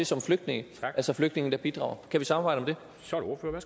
som flygtninge altså flygtninge der bidrager kan vi samarbejde om det